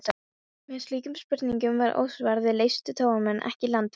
Meðan slíkum spurningum var ósvarað, leystu togaramenn ekki landfestar.